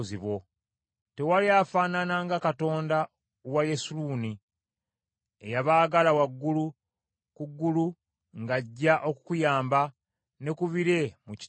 “Tewali afaanana nga Katonda wa Yesuluuni eyeebagala waggulu ku ggulu ng’ajja okukuyamba ne ku bire mu kitiibwa kye.